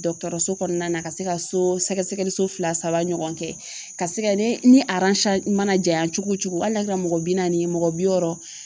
Dɔkɔtɔrɔso kɔnɔna na ka se ka so sɛgɛsɛgɛli so fila saba ɲɔgɔn kɛ ka se ka ne ni mana jayan cogo cogo hali n'a kɛra mɔgɔ bi naani ye mɔgɔ bi wɔɔrɔ